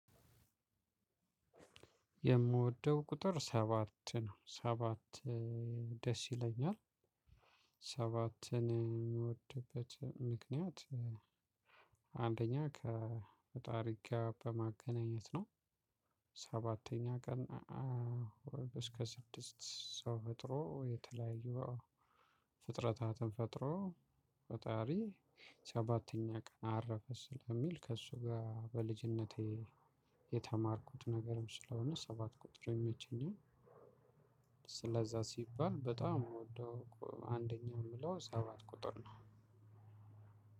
የምወደው ቁጥር ሰባት ነው። ሰባት ደስ ይለኛል። ሰባትን የምወድበት ምክንያት። አንደኛ ከፈጣሪ ጋር በማገናኘት ነው። ሰባተኛ ቀን እስከ ስድስት ሰው ፈጥሮ የተለያዩ ፍጥረታትን ፈጥሮ ፈጣሪ ሰባተኛ ቀን አረፈ ስለሚል ከእሱ ጋር በልጅነቴ የተማርኩት ነገርም ስለሆነ ሰባት ቁጥር የሚመቸኝም። ስለዛ ሲባል በጣም አንደኛ የምለው ሰባት ቁጥር ነው።